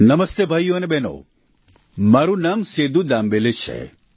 નમસ્તે ભાઈઓ અને બહેનો મારું નામ સેદૂ દામબેલે છે